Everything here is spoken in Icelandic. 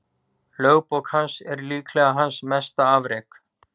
Lögbók hans er líklega hans mesta afrek.